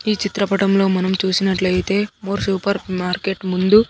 ఈ చిత్రపటంలో మనం చూసినట్లయితే మోర్ సూపర్ మార్కెట్ ముందు--